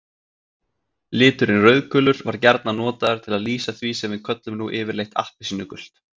Liturinn rauðgulur var gjarnan notaður til að lýsa því sem við köllum nú yfirleitt appelsínugult.